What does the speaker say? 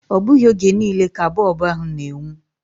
Ọ bụghị oge niile ka bọb ahu na-enwu.